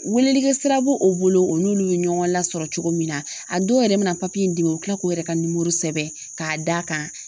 Welelikɛ sira bo o bolo o n'olu ye ɲɔgɔn lasɔrɔ cogo min na a dɔw yɛrɛ bɛ na in d'i ma u bɛ kila k'u yɛrɛ ka nimoro sɛbɛn k'a d'a kan.